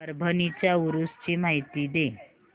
परभणी च्या उरूस ची माहिती दे